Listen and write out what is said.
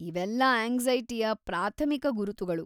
ಇವೆಲ್ಲ ಆಂಗ್ಸೈಟಿಯ ಪ್ರಾಥಮಿಕ ಗುರುತುಗಳು.